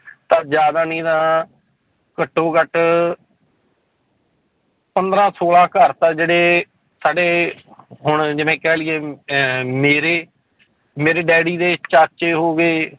ਤਾਂ ਜ਼ਿਆਦਾ ਨਹੀਂ ਤਾਂ ਘੱਟੋ ਘੱਟ ਪੰਦਰਾਂ ਛੋਲਾਂ ਘਰ ਤਾਂ ਜਿਹੜੇ ਸਾਡੇ ਹੁਣ ਜਿਵੇਂ ਕਹਿ ਲਈਏ ਵੀ ਅਹ ਮੇਰੇ ਮੇਰੇ ਡੈਡੀ ਦੇ ਚਾਚੇ ਹੋ ਗਏ